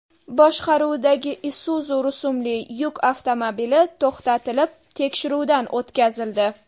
boshqaruvidagi Isuzu rusumli yuk avtomobili to‘xtatilib, tekshiruvdan ko‘tkazildi.